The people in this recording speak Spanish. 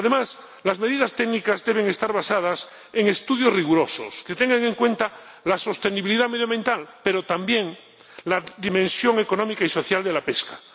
Además, las medidas técnicas deben estar basadas en estudios rigurosos que tengan en cuenta la sostenibilidad medioambiental, pero también la dimensión económica y social de la pesca.